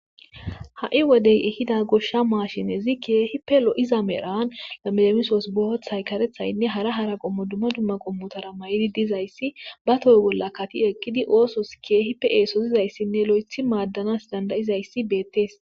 ha7i wodey ehida goshsha maashinezi kie hipe lo7iza merhan yamelemisoos bohothay karethaynne hara hara qommo dumma dumma qommotara may7idi dizayssi ba toy bolla kati eqqidi oosos keehipe eesozizayssinne lo7ethi maaddanas dandayizayssi beettees